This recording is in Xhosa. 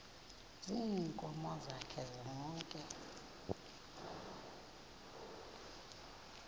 ziinkomo zakhe zonke